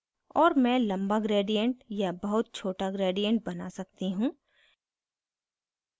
और मैं लम्बा gradient या बहुत छोटा gradient बना सकती हूँ